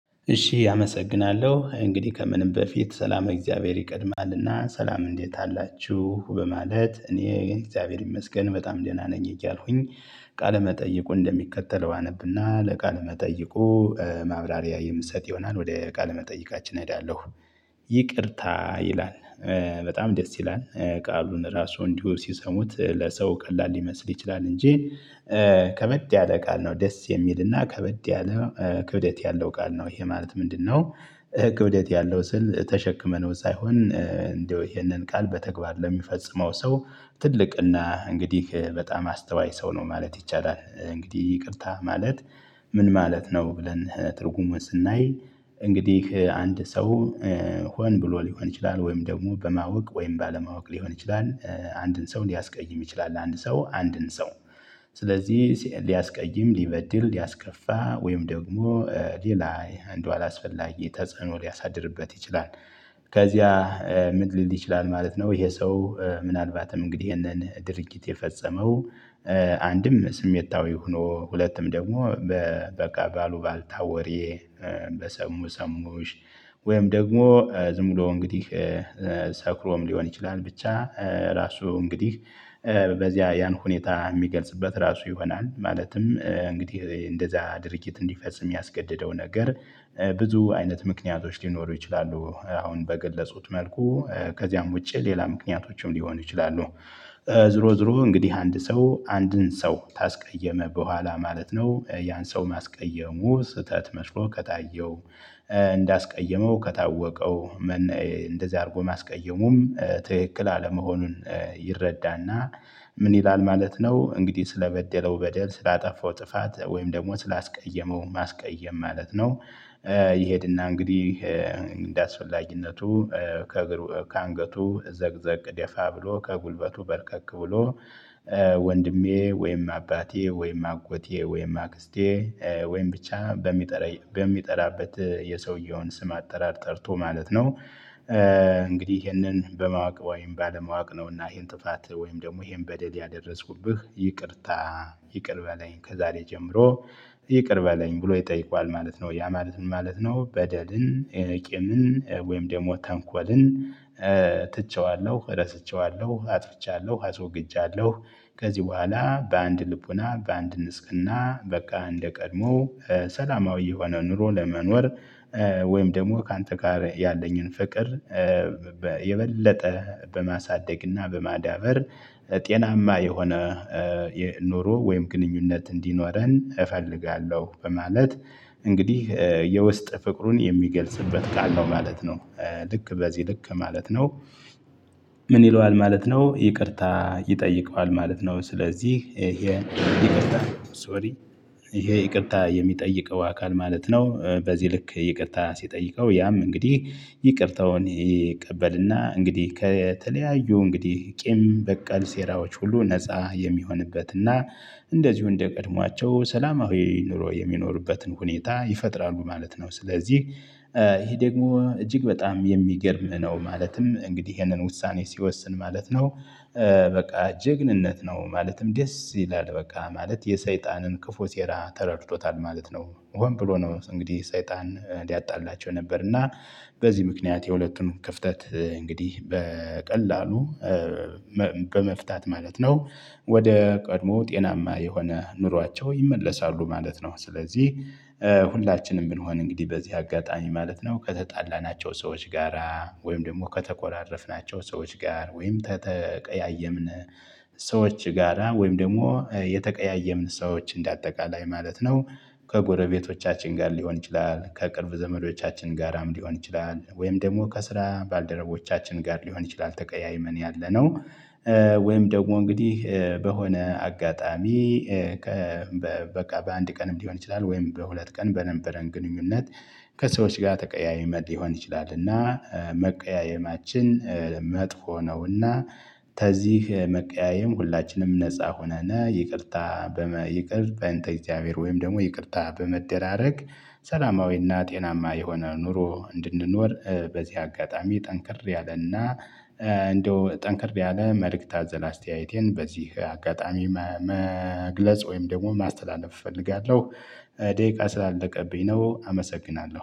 እሺ አመሰግናለሁ እንግዲህ ከምንም በፊት ሰላም እግዚአብሔር ይቀድማልና ሰላም እንዴት አላችሁ በማለት እኔ እግዚአብሔር ይመስገን በጣም ደህና ነኝ እያልኩኝ ቃለ መጠይቁ እንደሚከተለው አነብና ለቃለ መጠይቁ ማብራሪያ የምሰጥ ይሆናል ወደ ቃል መጠይቃችን እሄዳለሁ። ይቅርታ ይላል በጣም ደስ ይላል ቃሉን ራሱ እንዲሁ ሲሰሙት ለሰው ቀላል ሊመስል ይችላል እንጂ ከበድ ያለ ቃል ነው ደስ የሚልና ከበድ ያለ ክብደት ያለው ቃል ነው ይሄ ማለት ምንድነው? ክብደት ያለው ስል ተሸክመነው ሳይሆን እንደው ይሄንን ቃል በተግባር ለሚፈጽመው ሰው ትልቅና እንግዲህ በጣም አስተዋይ ሰው ነው ማለት ይቻላል። እንግዲህ ይቅርታ ማለት። ምን ማለት ነው ብለን ትርጉሙን ስናይ እንግዲህ አንድ ሰው ሆን ብሎ ሊሆን ይችላል ወይም ደግሞ በማወቅ ወይም ባለማወቅ ሊሆን ይችላል። አንድን ሰው ሊያስቀይም ይችላል አንድ ሰው አንድን ሰው ስለዚህ ሊያስቀይም ሊበድል ሊያስከፋ ወይም ደግሞ ሌላ እንደው አላስፈላጊ ተጸኖ ሊያሳድርበት ይችላል። ከዚያ ምን ሊል ይችላል ማለት ነው። ይሄ ሰው ምናልባትም እንግዲህ ይሄንን ድርጊት የፈጸመው አንድም ስሜታዊ ሆኖ ሁለቱም ደግሞ በቃ ባሉባልታ ወሬ በሰሙ ሰሙሽ ወይም ደግሞ ዝም ብሎ እንግዲህ ሰክሮም ሊሆን ይችላል። ብቻ ራሱ እንግዲህ በዚያ ያን ሁኔታ የሚገልጽበት ራሱ ይሆናል ማለትም እንግዲህ እንደዛ ድርጊት እንዲፈጽም ያስገደደው ነገር ብዙ አይነት ምክንያቶች ሊኖሩ ይችላሉ። አሁን በገለፅኩት መልኩ ከዚያም ውጪ ሌላ ምክንያቶችም ሊሆኑ ይችላሉ። ዞሮ ዞሮ እንግዲህ አንድ ሰው አንድን ሰው ታስቀየመ በኋላ ማለት ነው። ያን ሰው ማስቀየሙ ስህተት መስሎ ከታየው እንዳስቀየመው ከታወቀው እንደዚህ አድርጎ ማስቀየሙን ትክክል አለመሆኑን ይረዳና። ምን ይላል ማለት ነው? እንግዲህ ስለበደለው በደል ስላጠፋው ጥፋት ወይም ደግሞ ስላስቀየመው ማስቀየም ማለት ነው። ይሄድና እንግዲህ እንደአስፈላጊነቱ ከእግሩ ከአንገቱ ዘቅዘቅ ደፋ ብሎ ከጉልበቱ በርከክ ብሎ ወንድሜ ወይም አባቴ ወይም አጎቴ ወይም አክስቴ ወይም ብቻ በሚጠራ በሚጠራበት የሰውየውን ስም አጠራር ጠርቶ ማለት ነው። እንግዲህ ይሄንን በማወቅ ወይም ባለማወቅ ነው እና ይሄን ጥፋት ወይም ደግሞ ይሄን በደል ያደረስኩብህ ይቅርታ ይቅር በለኝ ከዛሬ ጀምሮ ይቅር በለኝ ብሎ ይጠይቋል ማለት ነው። ያ ማለትም ማለት ነው በደልን ቂምን ወይም ደግሞ ተንኮልን። ትቼዋለሁ ረስቼዋለሁ አጥፍቻለሁ አስወግጃለሁ ከዚህ በኋላ በአንድ ልቦና በአንድ ንጽህና በቃ እንደቀድሞ ሰላማዊ የሆነ ኑሮ ለመኖር። ወይም ደግሞ ካንተ ጋር ያለኝን ፍቅር የበለጠ በማሳደግና በማዳበር ጤናማ የሆነ የ ኑሮ ግንኙነት እንዲኖረን እፈልጋለሁ በማለት። እንግዲህ የውስጥ ፍቅሩን የሚገልጽበት ካለው ማለት ነው። ልክ በዚህ ልክ ማለት ነው። ምን ይለዋል ማለት ነው ይቅርታ ይጠይቀዋል ማለት ነው። ስለዚህ ይሄ ሶሪ ይሄ ይቅርታ የሚጥይቀው አካል ማለት ነው። በዚህ ልክ ይቅርታ ሲጠይቀው ያም እንግዲህ ይቅርታውን ይቀበልና እንግዲህ ከተለያዩ እንግዲህ ቂም በቀል ሴራዎች ሁሉ ነፃ የሚሆንበትና እንደዚሁ እንደቀድሟቸው ሰላማዊ ኑሮ የሚኖሩበትን ሁኔታ ይፈጥራሉ ማለት ነው። ስለዚህ ይሄ ደግሞ እጅግ በጣም የሚገርም ነው ማለትም እንግዲህ ይሄንን ውሳኔ ሲወስን ማለት ነው። በቃ ጀግንነት ነው ማለትም ደስ ይላል በቃ ማለት የሰይጣንን ክፉ ሴራ ተረድቶታል ማለት ነው። ሆን ብሎ ነው እንግዲህ ሰይጣን ሊያጣላቸው ነበር እና በዚህ ምክንያት የሁለቱም ክፍተት እንግዲህ በቀላሉ በመፍታት ማለት ነው። ወደ ቀድሞ ጤናማ የሆነ ኑሯቸው ይመለሳሉ ማለት ነው። ስለዚህ ሁላችንም ብንሆን እንግዲህ በዚህ አጋጣሚ ማለት ነው ከተጣላናቸው ሰዎች ጋራ ወይም ደግሞ ከተኮራረፍናቸው ሰዎች ጋር ወይም ከተቀያየምን ሰዎች ጋራ ወይም ደግሞ የተቀያየምን ሰዎች እንደ አጠቃላይ ማለት ነው። ከጎረቤቶቻችን ጋር ሊሆን ይችላል ከቅርብ ዘመዶቻችን ጋራም ሊሆን ይችላል ወይም ደግሞ ከስራ ባልደረቦቻችን ጋር ሊሆን ይችላል ተቀያይመን ያለነው። ወይም ደግሞ እንግዲህ በሆነ አጋጣሚ ከበ በቃ በአንድ ቀንም ሊሆን ይችላል ወይም በሁለት ቀን በነበረን ግንኙነት ከሰዎች ጋር ተቀያይመን ሊሆን ይችላልና። መቀያየማችን መጥፎ ነውና ከዚህ መቀያየም ሁላችንም ነፃ ሆነና ይቅርታ በመይቅር በእንተ እግዚአብሔር ወይም ደግሞ ይቅርታ በመደራረግ ሰላማዊና ጤናማ የሆነ ኑሮ እንድንኖር በዚህ አጋጣሚ ጠንክር ያለና። እንደው ጠንከር ያለ መልእክት አዘል አስተያየቴን በዚህ አጋጣሚ መግለጽ ወይም ደግሞ ማስተላለፍ እፈልጋለሁ። ደቂቃ ስላለቀብኝ ነው አመሰግናለሁ